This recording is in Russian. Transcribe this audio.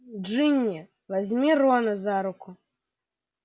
джинни возьми рона за руку